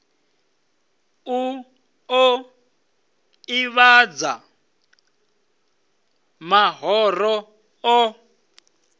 u ḓo ḓivhadza mahoro o